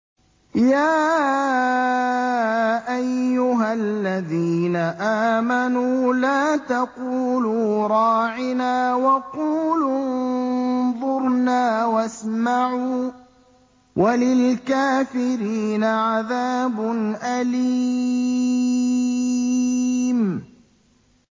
يَا أَيُّهَا الَّذِينَ آمَنُوا لَا تَقُولُوا رَاعِنَا وَقُولُوا انظُرْنَا وَاسْمَعُوا ۗ وَلِلْكَافِرِينَ عَذَابٌ أَلِيمٌ